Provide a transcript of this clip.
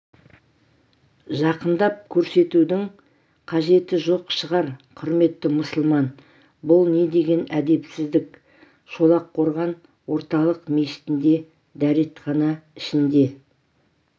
жақындап көрсетудің қажеті жоқ шығар құрметті мұсылман бұл не деген әдепсіздік шолаққорған орталық мешітінде дәретхана ішінде